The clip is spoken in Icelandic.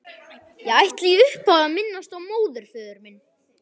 Ég ætla í upphafi að minnast á móðurföður minn